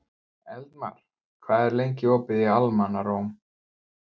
Eldmar, hvað er lengi opið í Almannaróm?